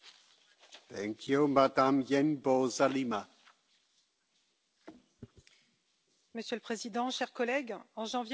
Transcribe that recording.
Monsieur le Président, chers collègues, en janvier nous avons commémoré la découverte des atrocités du camp d'Auschwitz pour que ces horreurs ne se reproduisent plus jamais.